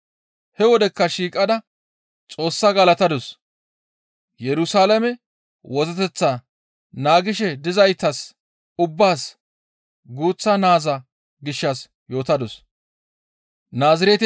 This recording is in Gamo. He wodekka shiiqada Xoossaa galatadus; Yerusalaame wozzeteth naagishe dizaytas ubbaas guuththa naaza gishshas yootadus.